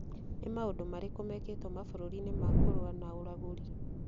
Nĩ maũndũ marĩkũ mekĩtwo mabũrũri-inĩ ma kũrũa na ũragũri